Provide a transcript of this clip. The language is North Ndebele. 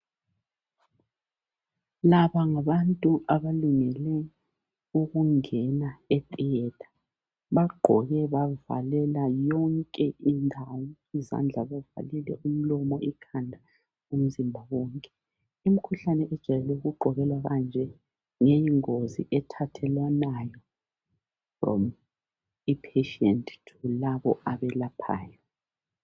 Laba ngabantu abalungele ukungena etheatre bagqoke bazivalela yonke indawo izandla bavalile umlomo ikhanda umzimba wonke imkhuhlane ejayele ukugqokelwa kanje ngeyingozi ethathelwanayo patient labo abelaphayo